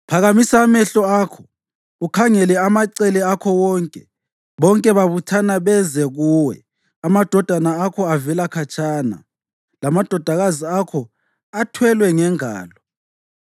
Phakamisa amehlo akho ukhangele amacele akho wonke: bonke babuthana beze kuwe; amadodana akho avela khatshana, lamadodakazi akho athwelwe ngengalo.